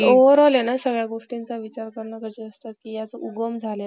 आपण सगळ्यांनी विचार करायला पाहिजे आणि ह्या ज्या काही गोष्टी होत आहेत